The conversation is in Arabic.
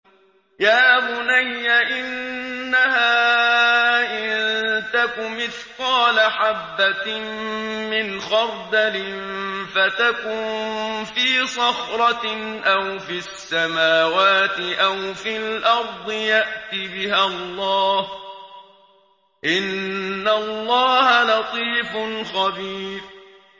يَا بُنَيَّ إِنَّهَا إِن تَكُ مِثْقَالَ حَبَّةٍ مِّنْ خَرْدَلٍ فَتَكُن فِي صَخْرَةٍ أَوْ فِي السَّمَاوَاتِ أَوْ فِي الْأَرْضِ يَأْتِ بِهَا اللَّهُ ۚ إِنَّ اللَّهَ لَطِيفٌ خَبِيرٌ